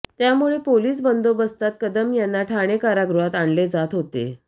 त्यामुळे पोलीस बंदोबस्तात कदम यांना ठाणे कारागृहात आणले जात होते